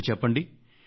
ఇప్పుడు చెప్పండి